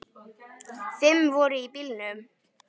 Fimm voru í bílnum.